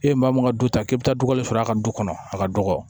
E ye maa mun ŋa du ta k'e bɛ taa dugawu sɔrɔ a ka du kɔnɔ a ka dɔgɔ